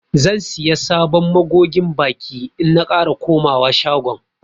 Zan siya sabon magogin baki in na kara komawa shagon.